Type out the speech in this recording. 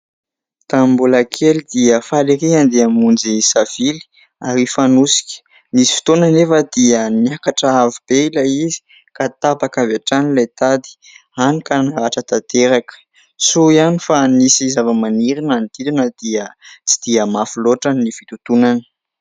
Tamin'ny mbola kely dia faly erỳ andeha hamonjy savily ary hfanosika. Nisy fotoana anefa dia niakatra avo be ilay izy ka tapaka avy hatrany ilay tady, hany ka naratra tanteraka. Soa ihany fa nisy zavamaniry manodidina dia tsy dia mafy loatra ny fitontonana.